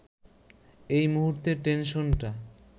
এ মুহূর্তে টেনশনটা